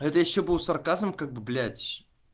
это ещё был сарказм как блять